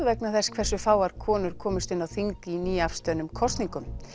vegna þess hversu fáar konur komust inn á þing í nýafstöðnum kosningum